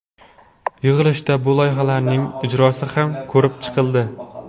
Yig‘ilishda bu loyihalarning ijrosi ham ko‘rib chiqildi.